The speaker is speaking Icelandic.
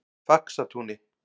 Faxatúni